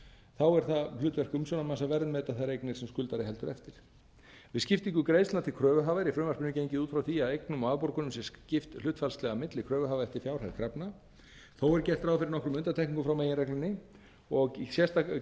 þá er það hlutverk umsjónarmanns að verðmeta þær eignir sem skuldari heldur eftir við skiptingu greiðslna til kröfuhafa er í frumvarpinu gengið út frá því að eignum og afborgunum sé skipt hlutfallslega milli kröfuhafa eftir fjárhæð krafna þó er gert ráð fyrir nokkrum undantekningum frá meginreglunni og gert ráð fyrir